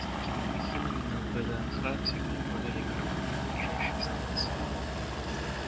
с такими махинами на вднх всегда отправляли караваны на ближайшие станции